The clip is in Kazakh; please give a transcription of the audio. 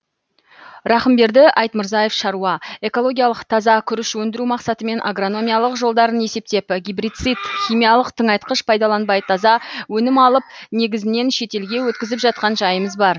рақымберді айтмырзаев шаруа экологиялық таза күріш өндіру мақсатымен агрономиялық жолдарын есептеп гебрицид химиялық тыңайтқыш пайдаланбай таза өнім алып негізінен шетелге өткізіп жатқан жайымыз бар